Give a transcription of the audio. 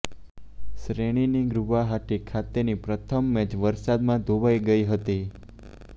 શ્રેણીની ગુવાહાટી ખાતેની પ્રથમ મેચ વરસાદમાં ધોવાઈ ગઈ હતી